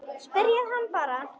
Spyrjið hana bara.